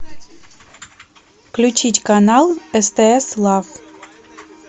включить канал стс лав